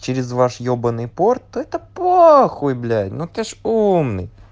через ваш ебанный порт это похуй блять ну ты ж умный